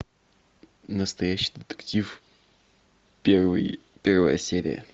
настоящий детектив первый первая серия